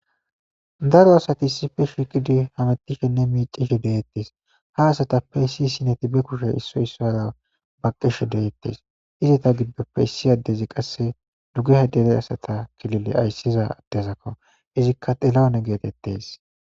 Daro asti issipe shiqidi ufayetishn micishe de'etes hasatape issi issineti be kushe issoy issuwara detes izata gidope issi adezi qase dugeha kilile aysiza adeko izika txilawune getetes